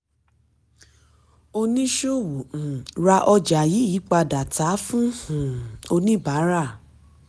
oníṣòwò um ra ọjà yí padà tà á fún um oníbárà.